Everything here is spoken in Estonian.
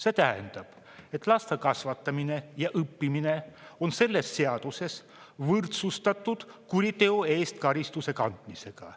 See tähendab, et laste kasvatamine ja õppimine on selles seaduses võrdsustatud kuriteo eest karistuse kandmisega.